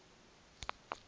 novo sekhtjheni